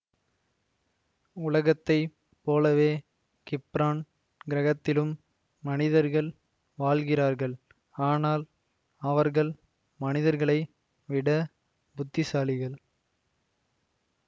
உலகத்தை போலவே கிப்ரான் கிரகத்திலும் மனிதர்கள் வாழ்கிறார்கள் ஆனால் அவர்கள் மனிதர்களை விட புத்திசாலிகள்